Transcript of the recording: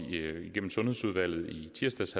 sundhedsudvalget i tirsdags